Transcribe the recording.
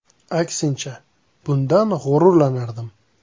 Aksincha, bundan g‘ururlanardim.